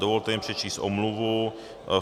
Dovolte mi přečíst omluvu.